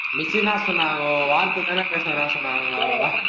miss என்ன சொன்னாங்கோ, வார்த்த தானே பேச வேணாம்னு சொன்னாங்கோ